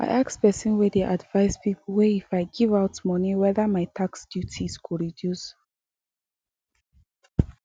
i ask person way dey advice people way if i give out money wether my tax duties go reduce